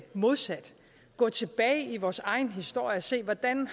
modsat gå tilbage i vores egen historie og se hvordan